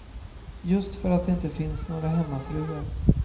Just för att det inte finns några hemmafruar.